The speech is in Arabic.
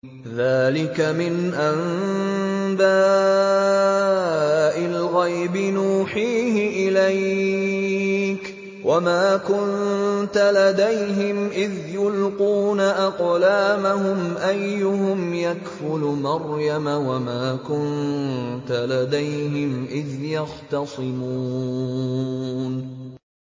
ذَٰلِكَ مِنْ أَنبَاءِ الْغَيْبِ نُوحِيهِ إِلَيْكَ ۚ وَمَا كُنتَ لَدَيْهِمْ إِذْ يُلْقُونَ أَقْلَامَهُمْ أَيُّهُمْ يَكْفُلُ مَرْيَمَ وَمَا كُنتَ لَدَيْهِمْ إِذْ يَخْتَصِمُونَ